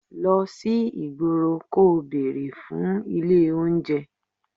Lọ sí ìgboro kò bere fún ilé oúnjẹ.